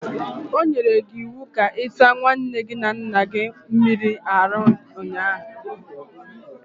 O nyere gi iwu ka i sa nwaanne gi na nna gi mmiri n'abali ụnyaahụ.